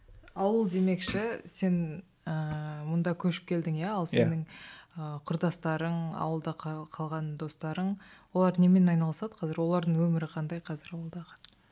ауыл демекші сен ііі мұнда көшіп келдің иә ал сенің ыыы құрдастарың ауылда қалған достарың олар немен айналысады қазір олардың өмірі қандай қазір ауылдағы